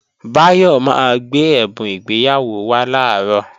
Báyọ̀ máa gbé ẹ̀bùn ìgbéyàwó wá làárọ̀